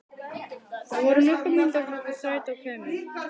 Það voru nokkrar mínútur þar til strætó kæmi.